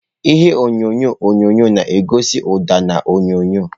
Ihe onyonyo onyonyo na-egosi ụda na onyonyo.